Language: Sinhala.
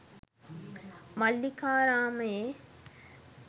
මල්ලිකාරාමයේ